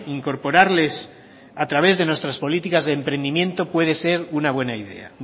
incorporarles a través de nuestras políticas de emprendimiento puede ser una buena idea